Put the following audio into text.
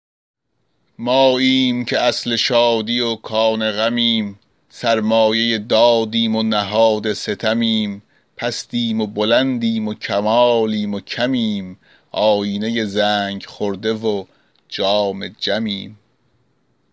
ماییم که اصل شادی و کان غمیم سرمایه دادیم و نهاد ستمیم پستیم و بلندیم و کمالیم و کمیم آیینه زنگ خورده و جام جمیم